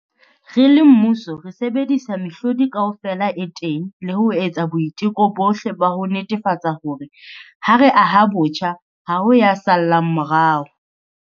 Re le mmuso, re sebedisa mehlodi kaofela e teng le ho etsa boiteko bohle ba ho netefatsa hore, ha re aha botjha, ha ho ya sa llang morao.